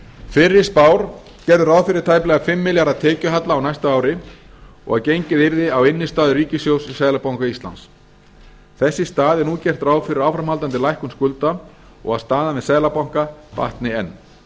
fyrri spár gerðu ráð fyrir tæplega fimm milljarða tekjuhalla á næsta ári og að gengið yrði á innistæður ríkissjóðs hjá seðlabanka íslands þess í stað er nú gert ráð fyrir áframhaldandi lækkun skulda og að staðan við seðlabanka batni